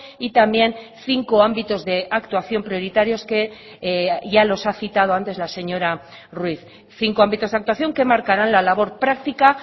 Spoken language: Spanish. y también cinco ámbitos de actuación prioritarios que ya los ha citado antes la señora ruiz cinco ámbitos de actuación que marcarán la labor práctica